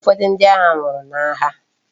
Ufodu ndi agha nwuru na agha